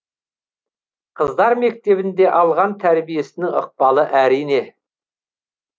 қыздар мектебінде алған тәрбиесінің ықпалы әрине